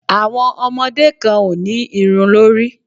Àwọn ọmọdé kan ò ní irun lórí.